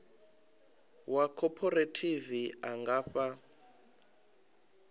wa khophorethivi a nga fha